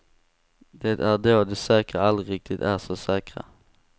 Det är då de säkra aldrig riktigt är så säkra.